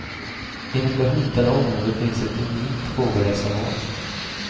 Inom det hotade området finns ett unikt fågelreservat.